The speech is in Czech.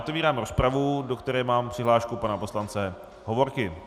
Otevírám rozpravu, do které mám přihlášku pana poslance Hovorky.